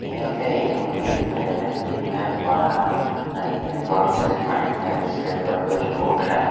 यहाँ पे एक नोदी दिखाई दे रहा है नोदी में बड़ा नदी है बहोत सारा पानी है उसके ऊपर कुछ बोर्ड रखा--